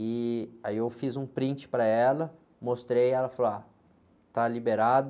E aí eu fiz um print para ela, mostrei, ela falou, ah, está liberado.